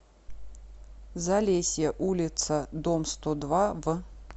залесье улица дом сто два в